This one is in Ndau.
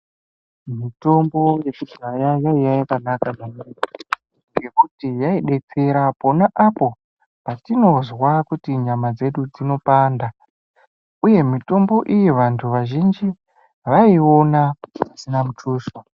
Mutombo yekudhaya yaiye yakanaka ... ngekuti yaidetsera pona apo patinozwa kuti nyama dzedu dzinopanda. Uye mitombo iyi vantu vazhinji vaiiona pasina mutuso.